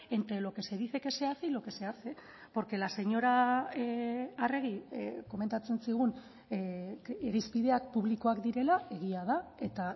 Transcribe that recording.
entre lo que se dice que se hace y lo que se hace porque la señora arregi komentatzen zigun irizpideak publikoak direla egia da eta